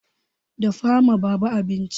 Dafa ma baba abinci!